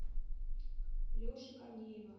леши корнеева